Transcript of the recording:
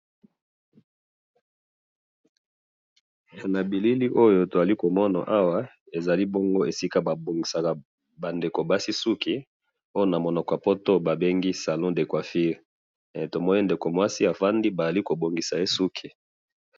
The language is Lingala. Na moni mwasi na salon de coiffure baza kobongisa ye suki na salon de coifure.